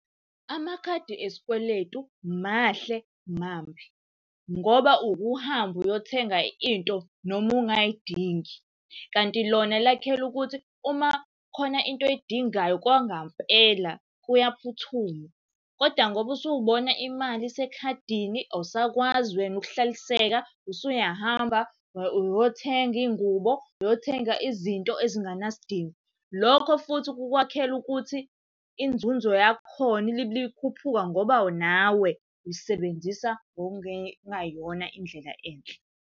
Amakhadi esikweletu mahle mambi, ngoba uke uhambe uyothenga into noma ungayidingi. Kanti lona lakhelwe ukuthi uma khona into oy'dingayo kwangampela kuyaphuthuma, kodwa ngoba usubona imali isekhadini awusakwazi wena ukuhlaliseka usuyahamba uyothenga iy'ngubo uyothenga izinto ezinganasidingo. Lokho futhi kukwakhela ukuthi inzunzo yakhona ilibele ikhuphuka ngoba nawe uyisebenzisa ngokungeyona indlela enhle.